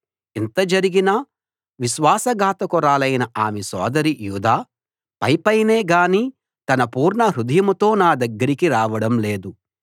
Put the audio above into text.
ఇంత జరిగినా విశ్వాసఘాతకురాలైన ఆమె సోదరి యూదా పైపైనే గాని తన పూర్ణహృదయంతో నా దగ్గరికి రావడం లేదు